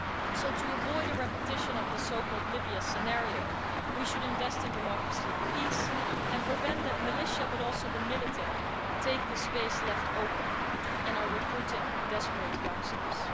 So to avoid a repetition of the so-called Libya scenario, we should invest in democracy and peace and prevent the militia but also the military from taking the space left open and recruiting desperate youngsters.